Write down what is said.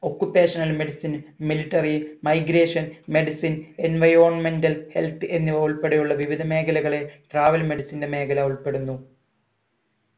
occupational medicine military migration medicine enivironmental health എന്നിവ ഉൾപ്പടെയുള്ള വിവിധ മേഖലകളെ travel medicine ന്റെ മേഖല ഉൾപ്പെടുന്നു